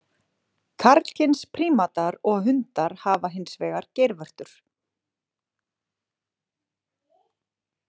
Karlkyns prímatar og hundar hafa hins vegar geirvörtur.